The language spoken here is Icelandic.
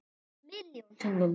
Milljón sinnum.